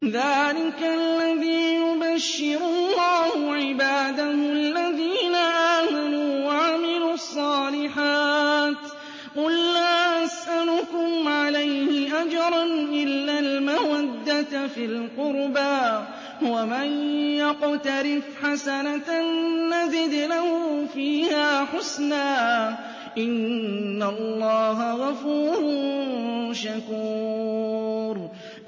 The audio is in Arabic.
ذَٰلِكَ الَّذِي يُبَشِّرُ اللَّهُ عِبَادَهُ الَّذِينَ آمَنُوا وَعَمِلُوا الصَّالِحَاتِ ۗ قُل لَّا أَسْأَلُكُمْ عَلَيْهِ أَجْرًا إِلَّا الْمَوَدَّةَ فِي الْقُرْبَىٰ ۗ وَمَن يَقْتَرِفْ حَسَنَةً نَّزِدْ لَهُ فِيهَا حُسْنًا ۚ إِنَّ اللَّهَ غَفُورٌ شَكُورٌ